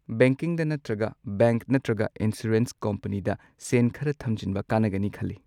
ꯕꯦꯡꯀꯤꯡꯗ ꯅꯠꯇ꯭ꯔꯒ ꯕꯦꯡꯛ ꯅꯠꯇ꯭ꯔꯒ ꯏꯟꯁꯨꯔꯦꯟꯁ ꯀꯝꯄꯅꯤꯗ ꯁꯦꯟ ꯈꯔ ꯊꯝꯖꯤꯟꯕ ꯀꯥꯟꯅꯒꯅꯤ ꯈꯜꯂꯤ꯫